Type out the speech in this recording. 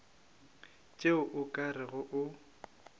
tšeo o ka rego o